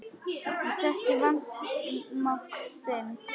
Ég þekki vanmátt þinn.